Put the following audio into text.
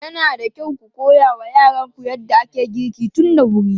Yana da kyau ku koya wa yaranku yadda ake girki tun da wuri.